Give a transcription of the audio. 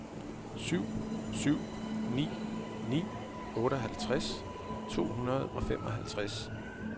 syv syv ni ni otteoghalvtreds to hundrede og femoghalvtreds